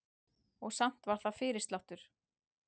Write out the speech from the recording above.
Og samt var það fyrirsláttur.